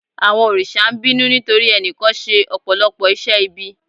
Àwọn òrìṣà ń bínú nítorí ẹnìkan ṣe Ọ̀pọ̀lọ́pọ̀ iṣẹ́ ibi.